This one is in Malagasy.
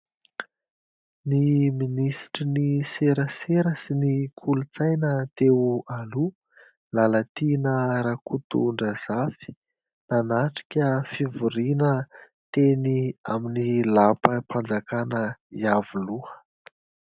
Ny ministry ny serasera sy ny kolontsaina teo aloha Lalatiana Rakotondrazafy nanatrika fivoriana teny amin' ny lapa-panjakana Iavoloha.